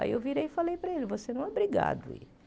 Aí eu virei e falei para ele, você não é obrigado a ir.